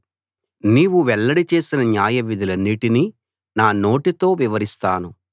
నీవు వెల్లడి చేసిన న్యాయవిధులన్నిటినీ నా నోటితో వివరిస్తాను